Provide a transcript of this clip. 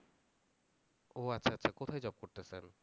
ও আচ্ছা আচ্ছা। কোথায় job করতেসেন?